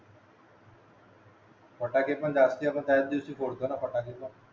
फटाके पण त्याच दिवशी फोडतो ना सकाळीच